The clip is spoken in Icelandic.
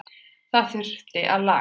Það þurfi að laga.